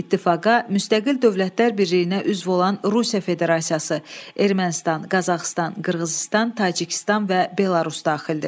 İttifaqa müstəqil dövlətlər birliyinə üzv olan Rusiya Federasiyası, Ermənistan, Qazaxıstan, Qırğızıstan, Tacikistan və Belarus daxildir.